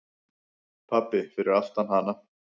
Pabbi fyrir aftan hana: